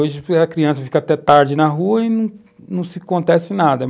Hoje a criança fica até tarde na rua e não nada.